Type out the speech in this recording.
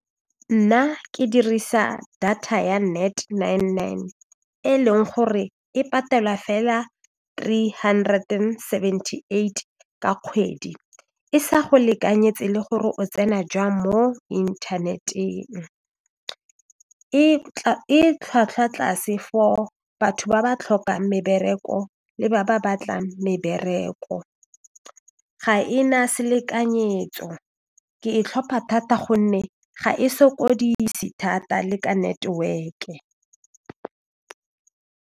Nna ke dirisa data ya Net Nine Nine e leng gore e patela fela three hundred and seventy eight ka kgwedi e sa go lekanyetse le gore o tsena jwang mo inthaneteng e tlhwatlhwa tlase for batho ba ba tlhokang mebereko le ba ba batlang mebereko ga e na selekanyetso ke e tlhopha thata gonne ga e sokodise thata le ka network-e.